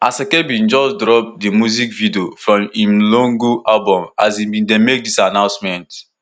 asake bin just drop di music video from im lungu album as e bin dey make dis announcement